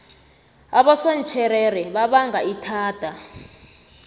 abosontjherere babanga ithada